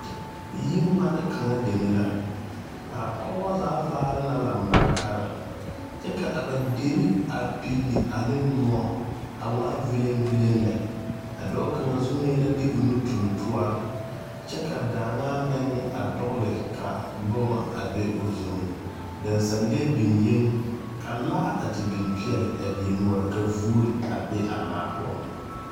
Yiŋmani kaŋa deme la a pɔgebɔ zaa vaare la lambarikari kyɛ ka a ba deri a pili ane muo a waa viliŋviliŋ lɛ a dɔɔ kaŋa zunee la de o nu tuŋ toɔri kyɛ ka daŋaa meŋ dɔgli ka boma be zuŋ daŋsaŋlee beŋee ka laa biŋ peɛli a die noɔri ka vuuri be a laa poɔŋ.